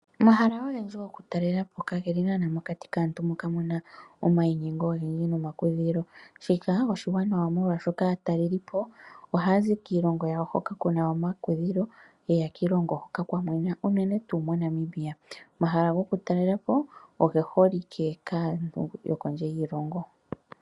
Omahala ogendji gokutalela po kageli nana mokati kaantu oyendji moka muna omayinyengo ogendji nomaweelelo, oshoka aataleli ohaazi kiilongo yawo hoka kuna omakudhilo yeya kiilongo hoka kwaana omakudhilo unene tuu moNamibia omahala gokutalela po oge holike kaantu yokondje yoshilongo.